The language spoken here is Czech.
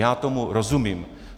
Já tomu rozumím.